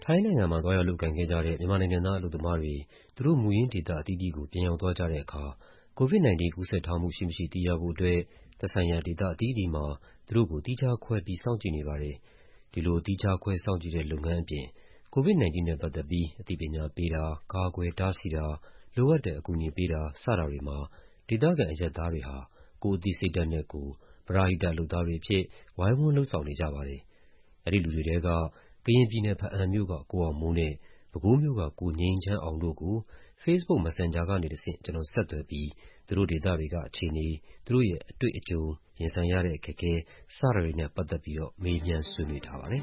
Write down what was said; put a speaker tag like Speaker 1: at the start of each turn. Speaker 1: ထိုင်းနိုင်ငံမှာ သွားရောက်လုပ်ကိုင်ခဲ့ကြတဲ့ မြန်မာနိုင်ငံသား အလုပ်သမားတွေ သူတို့ မူရင်း ဒေ သအသီးသီးကို ပြန်ရောက်သွားကြတဲ့အခါ COVID-19 ကူးစက်ထားမှုရှိမရှိ သိရဖို့အတွက် သက်ဆိုင်ရာဒေသအသီးသီးမှာ သူတို့ကို သီးခြားခွဲပြီး စောင့်ကြည့်နေပါတယ်။ ဒီလို သီးခြားခွဲစောင့်ကြည့်တဲ့ လုပ်ငန်းအပြင် COVID-19 နဲ့ပတ်သက်ပြီး အသိပညာပေးတာ၊ ကာကွယ်တားဆီးတာ၊ လိုအပ်တဲ့ အကူအညီပေးတာ စတာတွေမှာ ဒေသခံ အရပ်သားတွေဟာ ကိုယ့်အသိစိတ်ဓာတ်နဲ့ကိုယ် ပရဟိတ လုပ်သားတွေအဖြစ် ဝိုင်းဝန်းလုပ်ဆောင်နေကြပါတယ်။ အဲဒီလူတွေထဲက ကရင်ပြည်နယ်၊ ဘားအံ့မြို့က ကိုအောင်မိုးနဲ့ ပဲခူးမြို့က ကိုငြိမ်းချမ်းအောင်တို့ကို Facebook Messenger ကနေတဆင့် ဆက်သွယ်ပြီး သူတို့ဒေသတွေက အခြေအနေ၊ သူတို့ရဲ့ အတွေ့အကြုံ၊ ရင်ဆိုင်ရတဲ့အခက်အခဲ စတာတွေကို မေးမြန်းဆွေးနွေးထားပါတယ်